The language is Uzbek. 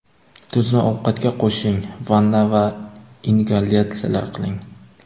Tuzni ovqatga qo‘shing, vanna va ingalyatsiyalar qiling.